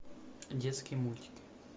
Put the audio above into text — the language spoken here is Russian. детские мультики